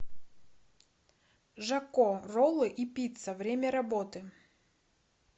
жако роллы и пицца время работы